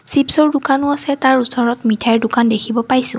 চিপচৰ দোকানো আছে তাৰ ওচৰত মিঠাইৰ দোকান দেখিব পাইছোঁ।